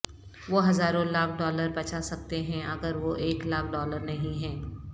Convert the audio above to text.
وہ ہزاروں لاکھ ڈالر بچا سکتے ہیں اگر وہ ایک لاکھ ڈالر نہیں ہیں